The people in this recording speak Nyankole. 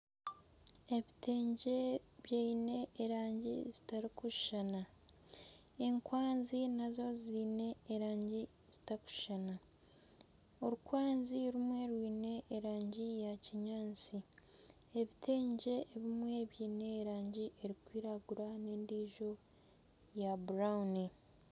Ebitengye byine erangi zitarikushuushana enkwazi naazo ziine erangi zitakushushana, orukwazi rumwe rwine erangi ya kinyaatsi ebitengye ebimwe byine erangi erikwiragura n'endiijo ya burawuni.